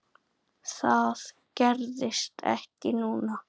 Það gerðist ekki núna.